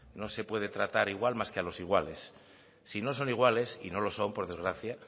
no se puede tratar igual más que a los iguales si no son iguales y no lo son por desgracia